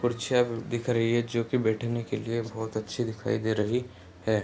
कुर्सियां दिख रही है जो की बैठने के लिए बहुत ही अच्छी दिखाई दे रही है।